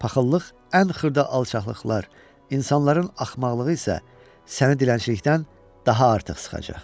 Paxıllıq, ən xırda alçaqlıqlar, insanların axmaqlığı isə səni dilənçilikdən daha artıq sıxacaq.